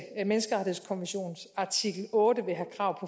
menneskerettighedskonventions artikel otte vil have krav